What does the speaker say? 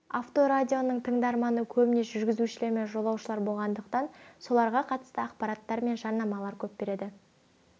авторадионың тыңдарманы көбіне жүргізушілер мен жолаушылар болғандықтан соларға қатысты ақпарат пен жарнаманы көп береді